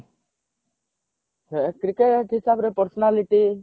ହେ cricket ହିସାବରେ personality